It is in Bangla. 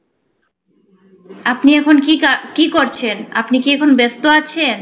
আপনি এখন কি কাজ~কি করছেন? আপনি কি এখন ব্যস্ত আছেন?